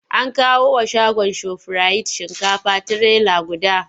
An kawo wa shagon Shofirayit shinkafa trailer guda.